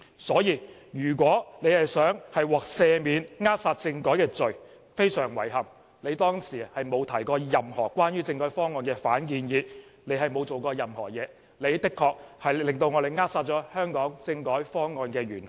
因此，如果他們想獲赦免扼殺政改的罪，非常遺憾，他們當時並沒有提過任何關於政改方案的反建議，他們沒有做任何工作，的確是扼殺了香港政改方案的元兇。